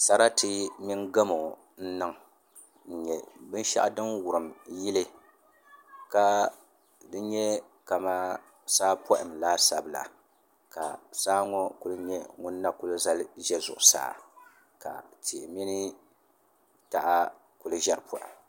Sarati mini gamo n niŋ n nyɛ binshaɣu din wurim yili ka n nyɛ kamani saa paham laasabu la ka saa ŋɔ ku nyɛ ŋun na kuli zali ʒɛ zuɣusaa ka tihi mini taha ku ʒɛri poham